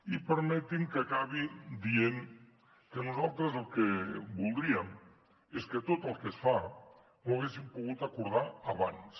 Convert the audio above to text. i permeti’m que acabi dient que nosaltres el que voldríem és que tot el que es fa ho haguéssim pogut acordar abans